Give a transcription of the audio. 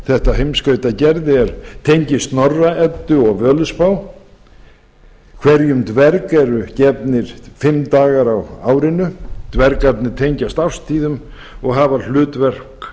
þetta heimskautagerði tengist snorra eddu og völuspá hverjum dverg eru gefnir fimm dagar á árinu dvergarnir tengjast árstíðum og hafa hlutverk